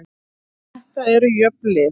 Þetta eru jöfn lið